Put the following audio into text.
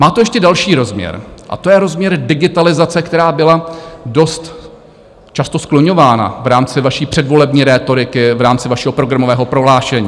Má to ještě další rozměr a to je rozměr digitalizace, která byla dost často skloňována v rámci vaší předvolební rétoriky, v rámci vašeho programového prohlášení.